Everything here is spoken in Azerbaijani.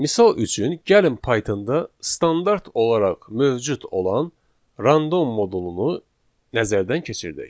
Misal üçün, gəlin Pythonda standart olaraq mövcud olan random modulunu nəzərdən keçirdək.